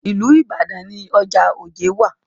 Ìlú Ìbàdàn ni ọjà Ojé wà.